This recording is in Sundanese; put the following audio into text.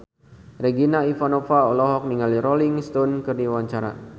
Regina Ivanova olohok ningali Rolling Stone keur diwawancara